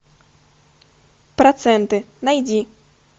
проценты найди